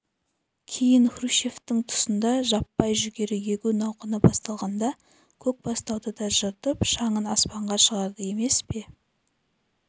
кейін хрущевтің тұсында жаппай жүгері егу науқаны басталғанда көкбастауды да жыртып шаңын аспанға шығарды емес пе